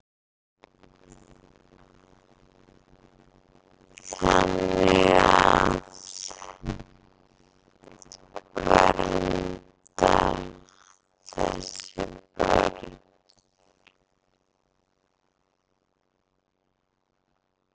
Þannig að. vernda þessi börn.